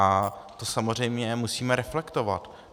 A to samozřejmě musíme reflektovat.